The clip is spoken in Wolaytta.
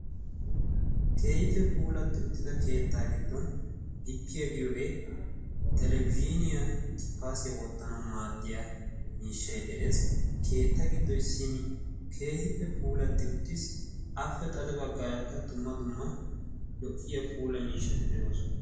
kehiife puulatti uttida keettaa giddon gippiyaa giyoogee talebiziiniyaa gippaasiyaa wottanau maaddiya miishshai de7ees keetta giddoi simmi keehippe puulatti uttissi ape xade baggaarakka dumma dumma lo77iya puula miishshati de7ooson